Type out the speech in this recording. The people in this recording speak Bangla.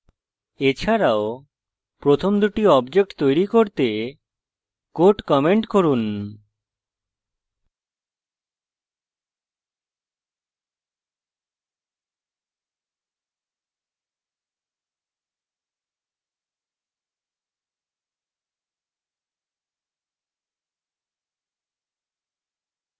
এছাড়াও প্রথম দুটি objects তৈরী করতে code comment করুন